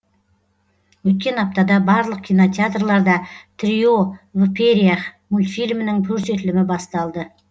өткен аптада барлық кинотеатрларда трио в перьях мультфильмінің көрсетілімі басталды